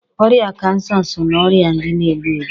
Ọrịa Kansa so na ọrịa ndị na-egbu egbu.